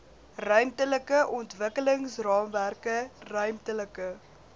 ruimtelike ontwikkelingsraamwerke ruimtelike